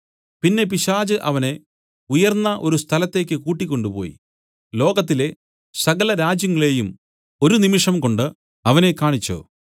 പിന്നെ പിശാച് അവനെ ഉയർന്ന ഒരു സ്ഥലത്തേയ്ക്ക് കൂട്ടിക്കൊണ്ടുപോയി ലോകത്തിലെ സകല രാജ്യങ്ങളെയും ഒരു നിമിഷം കൊണ്ട് അവനെ കാണിച്ചു